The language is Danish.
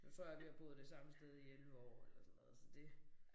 Så tror jeg vi har boet det samme sted i 11 år eller sådan noget så det